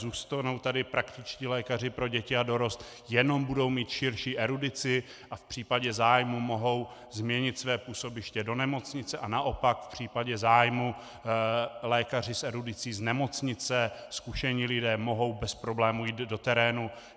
Zůstanou tady praktičtí lékaři pro děti a dorost, jenom budou mít širší erudici a v případě zájmu mohou změnit své působiště do nemocnice, a naopak v případě zájmu lékaři s erudicí z nemocnice, zkušení lidé, mohou bez problému jít do terénu.